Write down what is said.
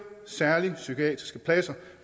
særlige psykiatriske pladser